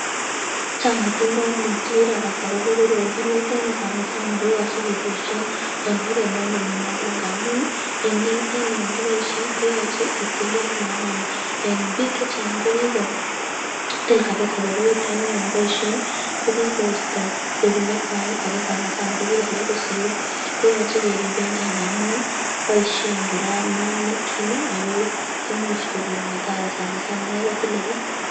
Chang atindonik chechang chekirakas akobo koroi